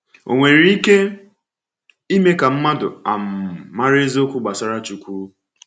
Ò nwere ike ime ka mmadụ um mara eziokwu gbasara Chukwu?